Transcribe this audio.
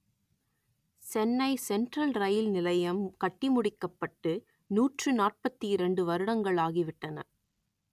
Chennai central இரயில் நிலையம் கட்டிமுடிக்கப்பட்டு நூற்று நாற்பத்தி இரண்டு வருடங்கள் ஆகிவிட்டன